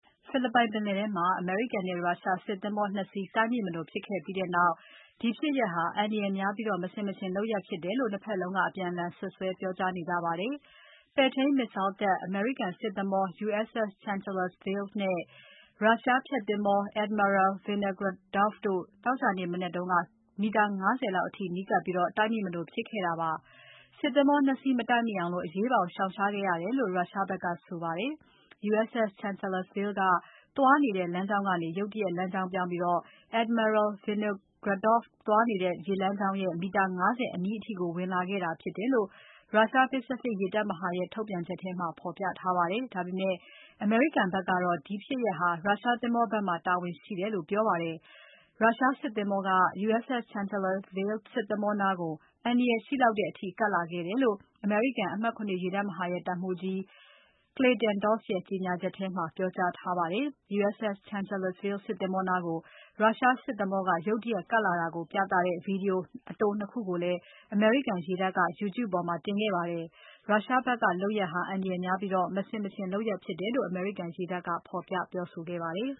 ဖိလစ်ပိုင်ပင်လယ်ထဲမှာ အမေရိကန်နဲ့ ရုရှားစစ်သင်္ဘော ၂ စီးတိုက်မိမလိုဖြစ်ခဲ့ပြီးနောက် ဒီဖြစ်ရပ်ဟာ အန္တရာယ်များပြီးမဆင်မခြင်လုပ်ရပ် ဖြစ်တယ်လို့ ၂ ဖက်လုံးက အပြန်အလှန်စွပ်စွဲပြောကြားနေကြပါတယ်။ ပဲ့ထိန်း Missile တပ်အမေရိကန်စစ်သင်္ဘော USS Chancellorsville နဲ့ Russia ဖျက်သင်္ဘော Admiral Vinogradov တို့ သောကြာနေ့ မနက်က မီတာ ၅၀ လောက်အထိ နီးကပ်ပြီး တိုက်မိမလိုဖြစ်ခဲ့တာပါ။ စစ်သင်္ဘော ၂ စီး မတိုက်မိအောင် အရေးပေါ် ရှောင်ရှားခဲ့ရတယ်လို့ Russia ဖက်ကဆိုပါတယ်။ USS Chancellorsville ကသွားနေတဲ့လမ်းကြောင်းကနေ ရုတ်တရက် လမ်းကြောင်းပြောင်းပြီး Admiral Vinogradov သွားနေတဲ့ ရေလမ်းကြောင်းရဲ့ မီတာ ၅၀ အနီးအထိကို ဝင်လာခဲ့တာဖြစ်တယ်လို့ ရုရှား Pacific ရေတပ်မဟာရဲ့ ထုတ်ပြန်ချက်မှာ ဖော်ပြထားပါတယ်။ ဒါပေမဲ့ အမေရိကန်ဖက်ကတော့ ဒီဖြစ်ရပ်ဟာ ရုရှားသင်္ဘောဖက်မှာ တာဝန်ရှိတယ်လို့ ပြောပါတယ်။ ရုရှားစစ်သင်္ဘောက U.S.S. Chancellorsville စစ်သင်္ဘောနားကို အန္တရာယ်ရှိလောက်တဲ့ အထိ ကပ်လာခဲ့တယ်လို့ အမေရိကန် အမှတ် ၇ ရေတပ်မဟာရဲ့ တပ်မှူးကြီး Clayton Doss ရဲ့ကြေညာချက်ထဲမှာ ပြောကြားထားပါတယ်။ U.S.S. Chancellorsville စစ်သင်္ဘောနားကို ရုရှားစစ်သင်္ဘောက ရုတ်တရက်ကပ်လာတာကို ပြသတဲ့ Video အတို ၂ ခုကိုလည်း အမေရိကန်ရေတပ်က YouTube ပေါ်မှာ တင်ခဲ့ပါတယ်။ ရုရှားဖက်က လုပ်ရပ်ဟာ အန္တရာယ်များပြီး မဆင်မခြင်လုပ်ရပ်ဖြစ်တယ်လို့ အမေရိကန်ရေတပ်က ဖော်ပြပြောဆိုခဲ့ပါတယ်